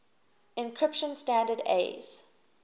encryption standard aes